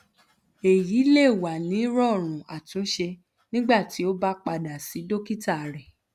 eyi le wa ni rọọrun atunṣe nigbati o ba pada si dokita rẹ